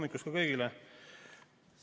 Tere hommikust kõigile!